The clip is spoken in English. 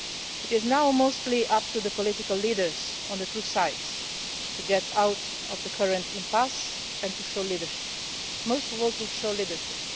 It is now mostly up to the political leaders on the two sides to get out of the current impasse and to show leadership, most of all to show leadership.